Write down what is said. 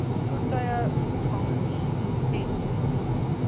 voertuie voetgangers ens